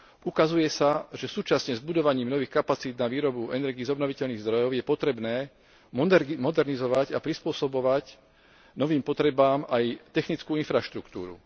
Ukazuje sa, že súčasne s budovaním nových kapacít na výrobu energií z obnoviteľných zdrojov je potrebné modernizovať a prispôsobovať novým potrebám aj technickú infraštruktúru.